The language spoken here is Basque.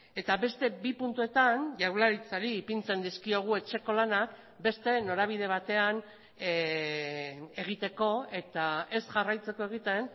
eta beste bi puntuetan jaurlaritzari ipintzen dizkiogu etxeko lanak beste norabide batean egiteko eta ez jarraitzeko egiten